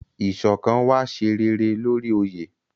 Iṣọkan wa ṣe réré lórí oye.